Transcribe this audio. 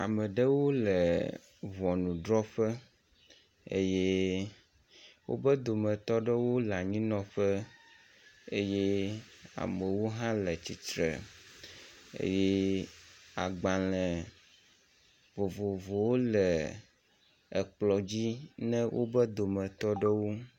Ameɖewo le ʋɔnudrɔƒe eye wóƒe dometɔɖewo le anyinɔƒe eye amewo hã le atsitsre eye agbale vovovowo le ekplɔ dzi ne wobe dometɔɖewo